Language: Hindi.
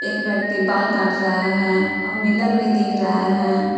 एक व्यक्ति बाल काट रहा है और मिलर भी दिख रहा है।